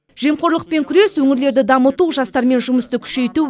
жемқорлықпен күрес өңірлерді дамыту жастармен жұмысты күшейту